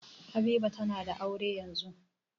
Habiba tana da aure yanzun.